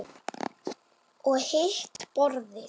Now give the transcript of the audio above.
Og hitt borðið?